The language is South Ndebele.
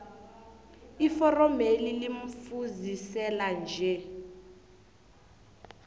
iforomeli limfuziselo nje